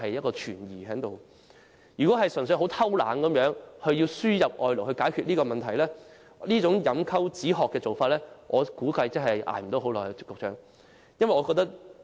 局長，假如安老院"偷懶"，只希望透過輸入外勞解決問題，這種飲鴆止渴的做法，我估計支撐不了多久。